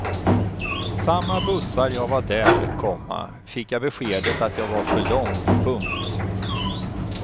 Samma bussar jag var där, komma fick jag beskedet att jag var för lång. punkt